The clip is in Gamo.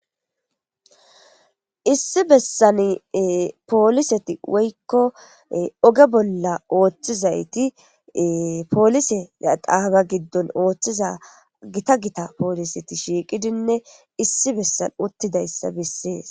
Issi bessan polisseti woyko ogge bolla ooththizayti giita giita polisseti shiiqqidi issi bolla uttidayssa besees.